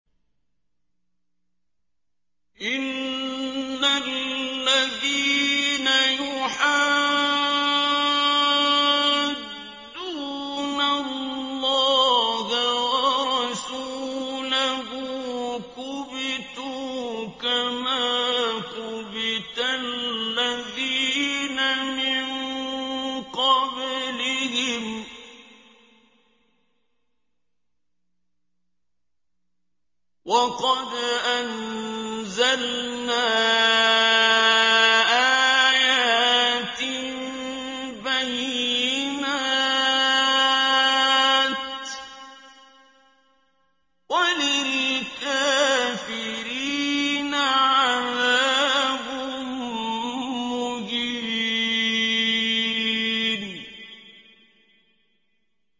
إِنَّ الَّذِينَ يُحَادُّونَ اللَّهَ وَرَسُولَهُ كُبِتُوا كَمَا كُبِتَ الَّذِينَ مِن قَبْلِهِمْ ۚ وَقَدْ أَنزَلْنَا آيَاتٍ بَيِّنَاتٍ ۚ وَلِلْكَافِرِينَ عَذَابٌ مُّهِينٌ